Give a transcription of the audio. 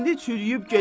İndi çürüyüb gedib.